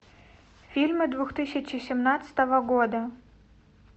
фильмы две тысячи семнадцатого года